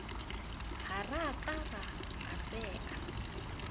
ha rakatara a se a